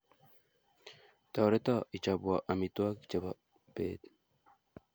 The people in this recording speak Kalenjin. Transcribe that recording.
Toreto ichopwo amitwogik chebo pet